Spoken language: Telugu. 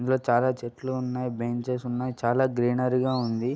ఇందిలో చాలా చెట్లు ఉన్నాయి. బెంచెస్ ఉన్నాయి చాలా గ్రీనరీ గా ఉంది.